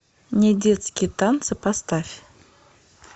недетские танцы поставь